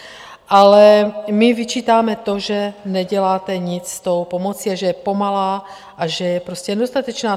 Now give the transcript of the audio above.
Ale my vyčítáme to, že neděláte nic s tom pomocí a že je pomalá a že je prostě nedostatečná.